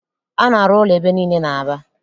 A na-arụ ụlọ ebe niile n'Aba